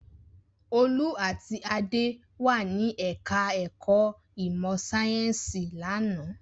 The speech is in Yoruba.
Olú àti Adé wà ní ẹ̀ka-ẹ̀kọ́ ìmọ̀-sáyẹ́ńsì lánàá.